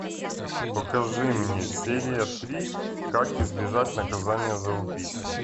покажи мне серия три как избежать наказания за убийство